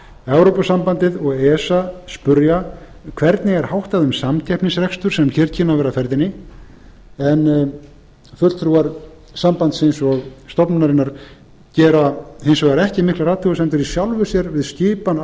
evrópusambandið og esa spyrja hvernig er háttað um samkeppnisrekstur sem hér kynni að vera á ferðinni en fulltrúar sambandsins og stofnunarinnar gera hins vegar ekki miklar athugasemdir í sjálfu sér við skipan